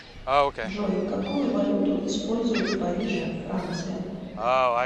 джой какую валюту используют в париже франция